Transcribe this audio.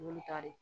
Olu ka di